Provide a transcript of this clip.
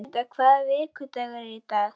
Guðmunda, hvaða vikudagur er í dag?